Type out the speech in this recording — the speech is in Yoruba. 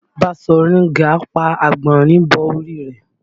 Baṣọ̀run Gáà pa àgbọ̀nrín bọ orí rẹ̀